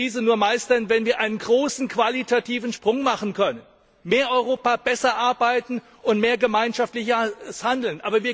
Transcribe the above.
Wir werden die Krise nur meistern, wenn wir einen großen qualitativen Sprung machen können Mehr Europa, besser arbeiten und mehr gemeinschaftliches Handeln.